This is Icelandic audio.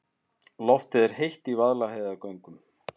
Loftið er heitt í Vaðlaheiðargöngum.